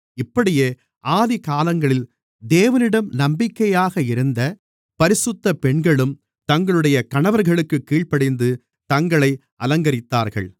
இப்படியே ஆதிக்காலங்களில் தேவனிடம் நம்பிக்கையாக இருந்த பரிசுத்தப் பெண்களும் தங்களுடைய கணவர்களுக்குக் கீழ்ப்படிந்து தங்களை அலங்கரித்தார்கள்